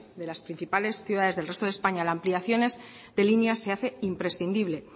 de las principales ciudades del resto de españa la ampliación de líneas se hace imprescindible